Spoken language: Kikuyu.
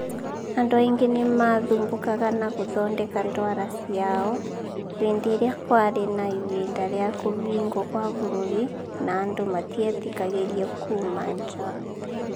Andũ aingĩ nĩ maathumbũkaga na gũthondeka ndwara ciao hĩndĩ ĩrĩa kwarĩ na ihinda rĩa kũhingwo kwa bũrũri na andũ matietĩkĩragio kuuma njaa.